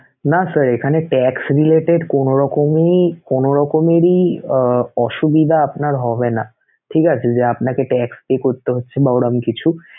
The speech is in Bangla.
না sir এখানে tax related কোনোরকমই~ কোনোরকমেরই অসুবিধা আপনার হবেনা, ঠিক আছে! যে আপনাকে tax pay করতে হচ্ছে বা ওরকম কিছু